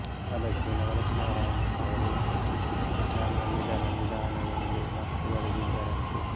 ಅದಕ್ಕೆ ನವರತ್ನರಾಂ ಅವರು ನನ್ನ ನಿಧನ ನಿಧಾನ ಎಂದು ನಕ್ಕು ಬರೆದಿದ್ದರಂತೆ